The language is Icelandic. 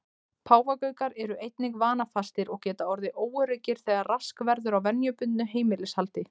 Páfagaukar eru einnig vanafastir og geta orðið óöruggir þegar rask verður á venjubundnu heimilishaldi.